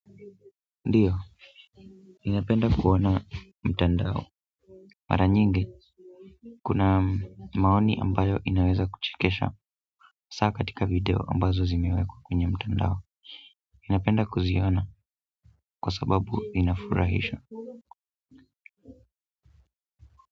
Ndio, ninapenda kuona mtandao mara nyingi, kuna maoni ambayo inaweza kuchekesha hasa katika video ambazo zimewekwa kwenye mtandao napenda kuziona kwa sababu inafurahisha.